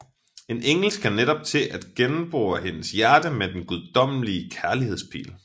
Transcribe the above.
En engel skal netop til at gennembore hendes hjerte med den guddommelige kærligheds pil